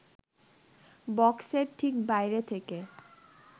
বক্সের ঠিক বাইরে থেকে